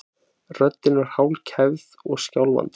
Röddin var hálfkæfð og skjálfandi.